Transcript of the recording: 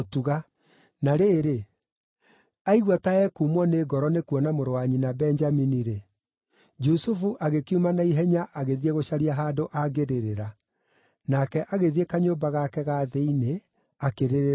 Na rĩrĩ, aigua ta ekumwo nĩ ngoro nĩ kuona mũrũ wa nyina Benjamini-rĩ, Jusufu agĩkiuma na ihenya agĩthiĩ gũcaria handũ angĩrĩrĩra. Nake agĩthiĩ kanyũmba gake ga thĩinĩ akĩrĩrĩra kuo.